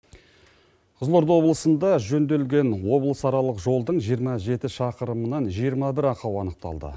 қызылорда облысында жөнделген облысаралық жолдың жиырма жеті шақырымнан жиырма бір ақау анықталды